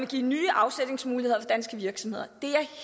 give nye afsætningsmuligheder for danske virksomheder